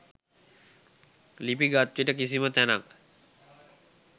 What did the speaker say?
ලිපි ගත්විට කිසිම තැනක්